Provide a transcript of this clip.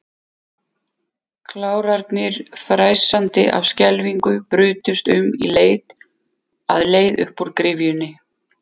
Klárarnir, fnæsandi af skelfingu, brutust um í leit að leið upp úr gryfjunni.